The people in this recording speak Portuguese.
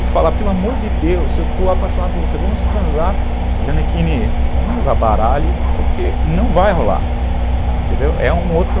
e falar, pelo amor de Deus, eu estou apaixonado por você, vamos transar, Gianecchini, vamos jogar baralho, porque não vai rolar, entendeu, é um outro...